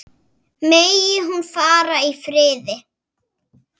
Megi hún fara í friði.